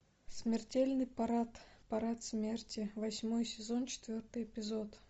смертельный парад парад смерти восьмой сезон четвертый эпизод